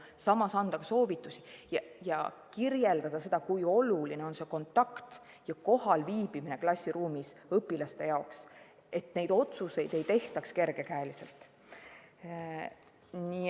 Samas anda soovitusi ja kirjeldada, kui oluline on kontakt ja klassiruumis kohal viibimine õpilaste jaoks, nii et neid otsuseid ei tehtaks kergekäeliselt.